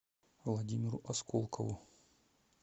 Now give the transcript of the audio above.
владимиру осколкову